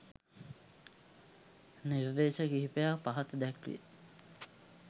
නිර්දේශ කිහිපයක්‌ පහත දැක්‌වේ